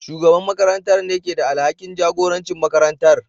Shugaban makarantar ne ke da alhakin jagorancin makarantar.